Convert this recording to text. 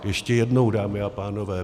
Ještě jednou, dámy a pánové.